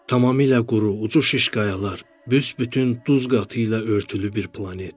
Tamamilə quru, ucu şiş qayalar, büsbütün duz qatı ilə örtülü bir planet.